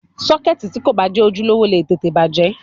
Sọ́kẹ́ẹ̀tì tí kò bá jẹ́ ojúlówó lè tètè bàjẹ́.